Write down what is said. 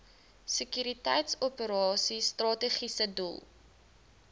sekuriteitsoperasies strategiese doel